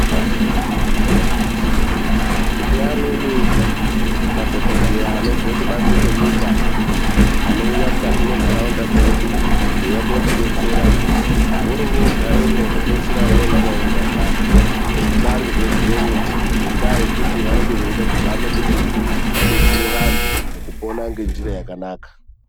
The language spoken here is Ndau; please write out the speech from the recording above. TINE AMWENI MADHOKODHEYA ANOBVE KUBANZE KWENYIKA ANOUYA MUKATI MENTARAUNDA DZEDU. KUUYA KOTIBETSERA VORO VOGAREMO KUPEDZISIRA VAKUITA KUNGE ZVIBARIRWE ZVEMWO. NGENDAA YEKUTI VANENGE VECHIDA KUBETSERA VANTU MUKUPONA NGENJIRA YAKANAKA.